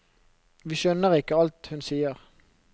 Vi skjønner ikke alt hun sier.